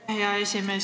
Aitäh, hea esimees!